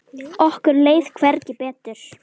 Okkur leið hvergi betur.